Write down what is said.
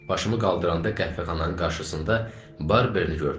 Başımı qaldıranda qəhvəxananın qarşısında Barberni gördüm.